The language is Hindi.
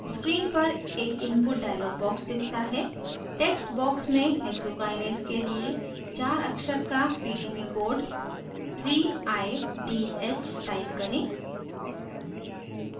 screen पर एक input dialog box दिखता है text box में hexokinase के लिए चार अक्षर का pdb code 3idh type करें